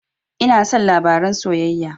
Ina son labaren soyayya